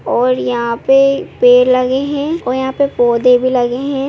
--और यहां पे पेड़ लगे हैं और यहां पे पौधे भी लगे हैं।